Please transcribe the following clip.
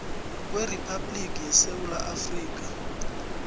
kweriphabhliki yesewula afrika